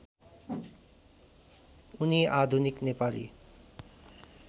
उनी आधुनिक नेपाली